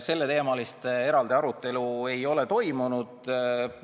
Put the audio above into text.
Selleteemalist eraldi arutelu ei ole toimunud.